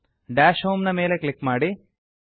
dash homeನ ಮೇಲೆ click ಮಾಡಿ